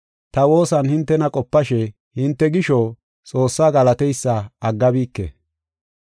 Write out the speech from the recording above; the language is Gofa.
ta woosan hintena qopashe hinte gisho Xoossaa galateysa aggabike.